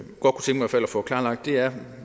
få klarlagt er